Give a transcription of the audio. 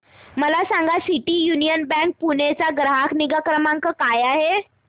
मला सांगा सिटी यूनियन बँक पुणे चा ग्राहक निगा क्रमांक काय आहे